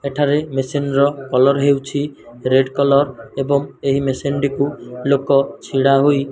ଏଠାରେ ମେସିନ ର କଲର ହେଉଛି ରେଡ କଲର ଏବଂ ଏହି ମେସିନ ଟିକୁ ଲୋକ ଛିଡା ହୋଇ --